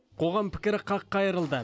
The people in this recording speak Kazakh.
қоғам пікірі қаққа айырылды